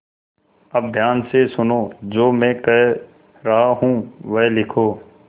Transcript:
अब ध्यान से सुनो जो मैं कह रहा हूँ वह लिखो